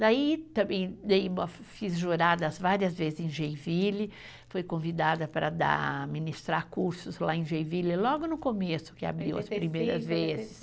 Daí também fiz juradas várias vezes em Geiville, fui convidada para dar, ministrar cursos lá em Geiville logo no começo, que abriu as primeiras vezes.